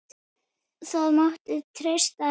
Það mátti treysta henni.